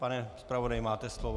Pane zpravodaji, máte slovo.